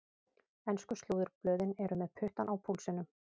Ensku slúðurblöðin eru með puttann á púlsinum.